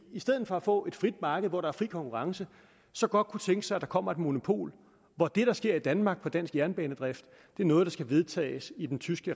i stedet for at få et frit marked hvor der er fri konkurrence så godt kunne tænke sig at der kommer et monopol hvor det der sker i danmark for dansk jernbanedrift er noget der skal vedtages i den tyske